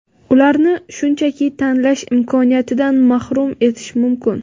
ularni shunchaki tanlash imkoniyatidan mahrum etish mumkin.